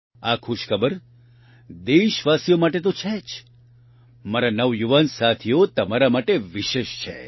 આ ખુશખબર દેશવાસીઓ માટે તો છે જ મારા નવયુવાન સાથીઓ તમારા માટે વિશેષ છે